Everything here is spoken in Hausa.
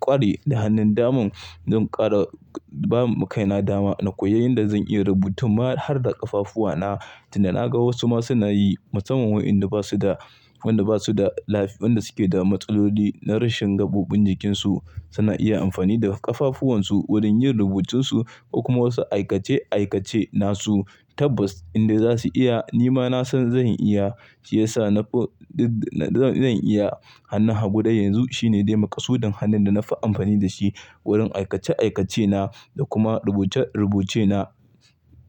ƙware da hannun daman, zan ƙara bamu kai na dama na koyi yanda zan iya rubuta ma har da ƙafafuwana. Tunda naga wasu ma suna yi musamman waɗanda basu da, waɗanda suke da matsaloli na rashin gaɓoɓin jikinsu suna iya amfani da ƙafafuwan su wurin yin rubutun su ko kuma wasu aikace aikace nasu tabbas inda zasu iya ni ma nasan zan iya. Shi yasa zan iya. Hannun hagu dai yanzu shine dai makasudin hannun da na fi amfani da shi wurin aikace aikace na da kuma rubuce rubuce na.